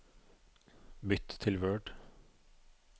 Bytt til Word